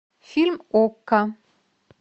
фильм окко